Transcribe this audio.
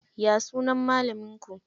Ya sunan malamin ku?